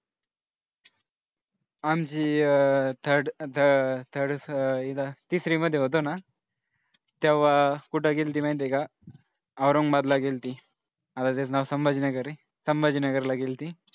आमची अह third third तिसरीमध्ये होतो ना तेव्हा कुठं गेलेती माहितेय का औरंगाबादला गेलती आता ते नाव संभाजी नगर आहे संभाजी नगरला गेली होती.